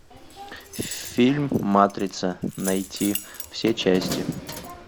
фильм матрица найти все части